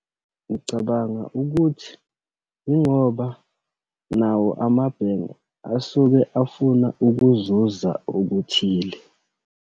Ngicabanga ukuthi yingoba nawo amabhenki asuke afuna ukuzuza okuthile.